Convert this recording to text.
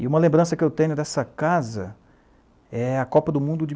E uma lembrança que eu tenho dessa casa é a Copa do Mundo de...